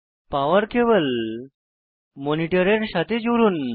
পাওয়ার cable মনিটরের সাথে জুড়ুন